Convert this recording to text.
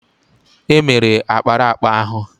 È mere ákpáraàkpà ahụ